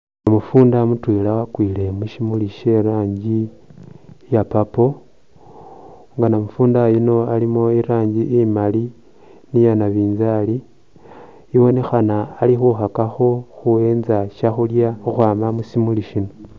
Namufunda mutwela wakwile mushimuli she rangi iya purple nga namufunda yuno alimo irangi imali, iyanabinzali ibonekhana ali khukakakho khuyenza shakhulya khukhwama mushimuli shino.